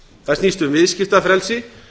það snýst um viðskiptafrelsi